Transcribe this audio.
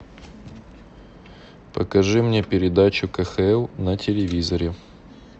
покажи мне передачу кхл на телевизоре